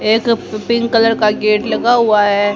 एक pink colour का gate लगा हुआ है।